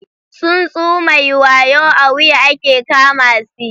Tsuntsu mai wayo a wuya ake kama si.